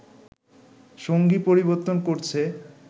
সঙ্গী পরিবর্তন করছে